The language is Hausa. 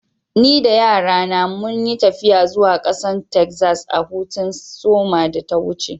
Ni da yara na mun yi taffiya zuwa kasan Texas a'hutun soma da ta wuce.